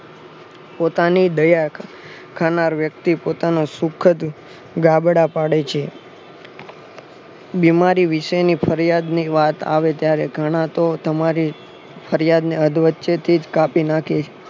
પોતાની દયા ખાવ ખાનાર વ્યક્તિ પોતાનું શુખદ દાબાદ પડે છે. બીમારી વિશેની ફરિયાદ ની વાત આવે ત્યારે ઘણા તો તમારી ફરિયાદને અધવચ્ચેથી જ કાપી નાખે